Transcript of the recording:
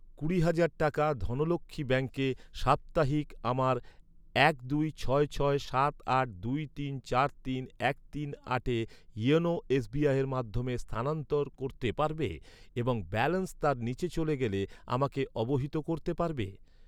কুড়ি হাজার টাকা ধনলক্ষ্মী ব্যাঙ্কে সাপ্তাহিক আমার এক দুই ছয় ছয় সাত আট দুই তিন চার তিন এক তিন আটে ইওনো এসবিআইয়ের মাধ্যমে স্থানানন্তর করতে পারবে এবং ব্যালেন্স তার নিচে চলে গেলে আমাকে অবহিত করতে পারবে?